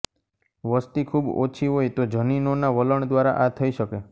વસતિ ખૂબ ઓછી હોય તો જનીનોના વલણ દ્વારા આ થઈ શકે